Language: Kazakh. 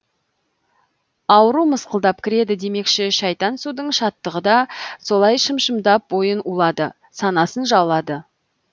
ауру мысқалдап кіреді демекші шайтан судың шаттығы да солай шым шымдап бойын улады санасын жаулады